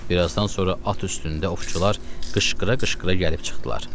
Birazdan sonra at üstündə ovçular qışqıra-qışqıra gəlib çıxdılar.